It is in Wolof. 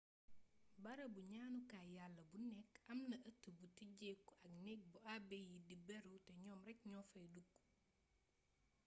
barabu ñaanukaay yàlla bu nekk amna ëtt bu tijjeeku ak neeg bu abe yi di beru te ñoom rekk ñoo fay dugg